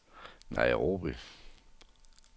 Nairobi